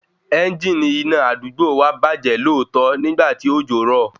Ẹngini iná àdúgbò wa bàjẹ́ lóòtọ́ nígbà tí òjò rọ̀